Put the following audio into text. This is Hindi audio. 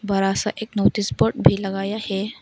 बड़ा सा एक नोटिस बोर्ड भी लगाया है।